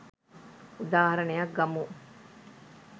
උදාහරනයක් ගමු